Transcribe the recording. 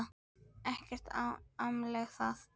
Ekki amalegt það.